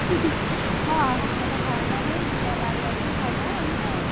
smile ହଁ ତତେ ଭଲ ଲାଗେଇ ଯିବା ବାରିଆଡକୁ ଖାଇବା ଆଣିକି ଆଉ।